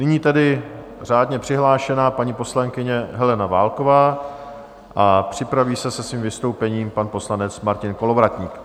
Nyní tedy řádně přihlášená paní poslankyně Helena Válková a připraví se se svým vystoupením pan poslanec Martin Kolovratník.